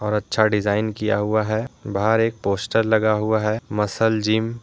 और अच्छा डिजाइन किया हुआ है बाहर एक पोस्टर लगा हुआ है मसल जिम --